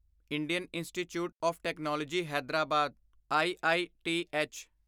Indian Institute of Technology Hyderabad IITH